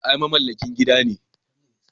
Ai mamallakin gidan ne.